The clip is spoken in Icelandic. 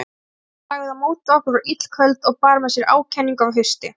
Bitran sem lagði á móti okkur var illköld og bar með sér ákenningu af hausti.